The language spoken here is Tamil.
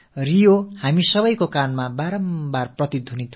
ரியோ என்ற சொல் நமது காதுகளில் தொடர்ந்து ரீங்காரமிடவிருக்கிறது